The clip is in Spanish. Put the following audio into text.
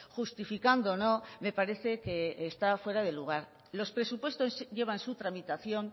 justificándo no me parece que está fuera de lugar los presupuestos llevan su tramitación